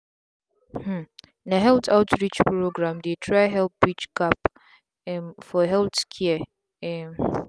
hmmm na health outreach programs dey try help bridge gap um for healthcare. um